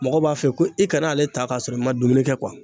Mɔgɔ b'a fɛ ko i kana ale ta k'a sɔrɔ i ma dumuni kɛ